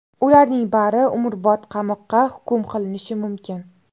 Ularning bari umrbod qamoqqa hukm qilinishi mumkin.